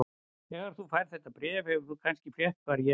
Þegar þú færð þetta bréf hefur þú kannski frétt hvar ég er.